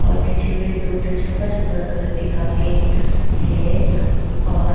और पीछे में दो ठो छोटा छोटा घर दिखाके है और--